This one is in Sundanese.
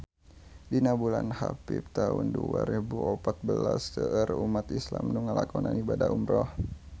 Dina bulan Hapit taun dua rebu opat belas seueur umat islam nu ngalakonan ibadah umrah